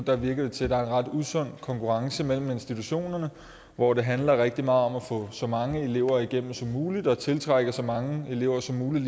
virker til at der er en ret usund konkurrence mellem institutionerne hvor det handler rigtig meget om at få så mange elever igennem som muligt og tiltrække så mange elever som muligt